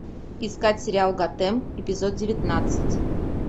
искать сериал готэм эпизод девятнадцать